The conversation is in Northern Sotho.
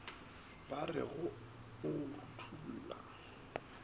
ba re go o rutolla